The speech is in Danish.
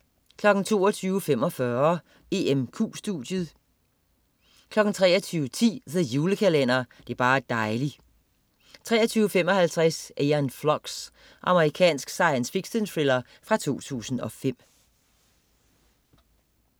22.45 EMQ studiet 23.10 The Julekalender. Det er bar' dejli' 23.55 Æon Flux. Amerikansk science fiction-thriller fra 2005